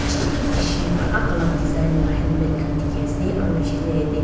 kisem kisem alag alag design laga helmet dekhi ase aru piche te jatte--